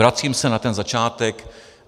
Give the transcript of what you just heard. Vracím se na ten začátek.